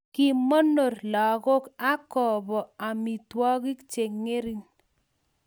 kimonor lakok ak kobo amitwokik che ngring